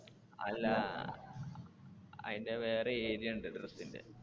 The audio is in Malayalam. അല്ല അഹ് അതിന്റെ വേറെ area ഉണ്ട് dress ന്റെ.